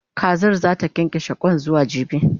Kazar zata kyankyashe Kwan zuwa jibi